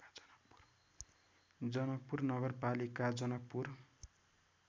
जनकपुर नगरपालिका जनकपुर